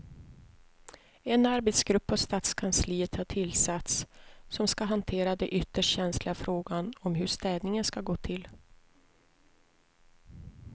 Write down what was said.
En arbetsgrupp på stadskansliet har tillsatts som ska hantera den ytterst känsliga frågan om hur städningen ska gå till.